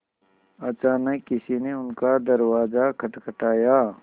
अचानक किसी ने उनका दरवाज़ा खटखटाया